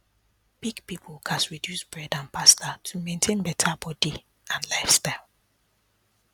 big people gats reduce bread and pasta to maintain better body and lifestyle